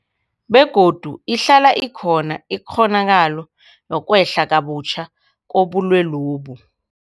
Begodu ihlala ikhona ikghonakalo yokwehla kabutjha kobulwelobu.